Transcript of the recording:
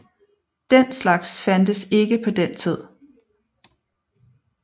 Den slags fandtes ikke på den tid